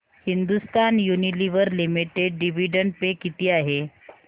Hindustan Unilever limited dividend pay किती आहे